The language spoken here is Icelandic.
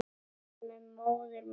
Það er með móður mína.